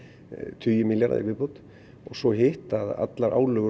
tugir milljarða í viðbót og svo hitt að allar álögur og